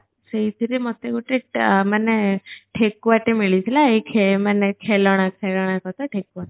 ସେଇଥିରେ ମତେ ଗଟେ ଟ ମାନେ ଠେକୁଆ ଟେ ମିଳି ଥିଲା ଏଇ ଖେ ମାନେ ଖେଲଣା ଖେଳଣା କଥା ଠେକୁଆ